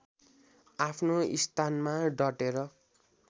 आफ्नो स्थानमा डटेर